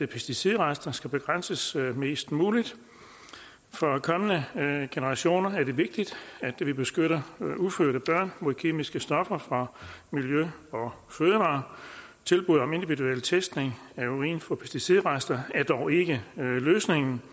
pesticidrester skal begrænses mest muligt for kommende generationer er det vigtigt at vi beskytter ufødte børn mod kemiske stoffer fra miljø og fødevarer tilbud om individuel testning af urin for pesticidrester er dog ikke løsningen